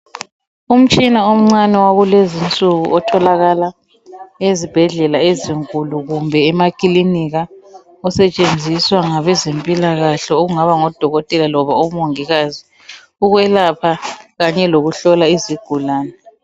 Umtshina omncane wakulezi insuku otholakala ezibhedlela ezinkulu kumbe emakilinika usetshenziswa ngabezempilakhe okungaba ngodokotela loba omongikazi ukwelapha noma ukuhlola izigulane.